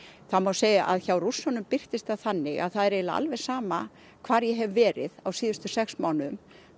það má segja að hjá Rússunum birtist það þannig að það er eiginlega alveg sama hvar ég hef verið á síðustu sex mánuðum